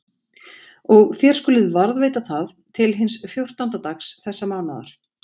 Og þér skuluð varðveita það til hins fjórtánda dags þessa mánaðar.